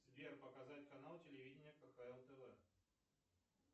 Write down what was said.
сбер показать канал телевидения кхл тв